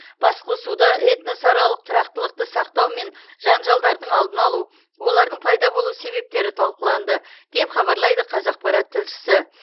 басқосуда этносаралық тұрақтылықты сақтау мен жанжалдардың алдын алу олардың пайда болу себептері талқыланды деп хабарлайды қазақпарат тілшісі